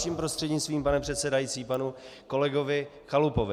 Vaším prostřednictvím, pane předsedající, panu kolegovi Chalupovi.